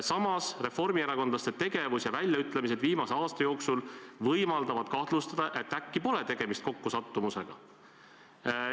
Samas – reformierakondlaste tegevus ja väljaütlemised viimase aasta jooksul võimaldavad kahtlustada, et äkki pole tegemist kokkusattumusega.